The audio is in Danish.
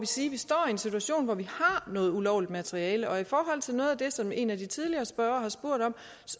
sige at vi står i en situation hvor vi har noget ulovligt materiale og i forhold til noget af det som en af de tidligere spørgere har spurgt om